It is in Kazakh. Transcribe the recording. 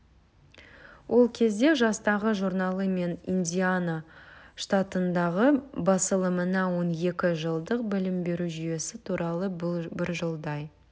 ол кезде жастағы журналы мен индиана штатындағы басылымына он екі жылдық білім беру жүйесі туралы бір жылдай